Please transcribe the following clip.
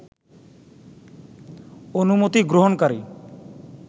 অনুমতি গ্রহণকারী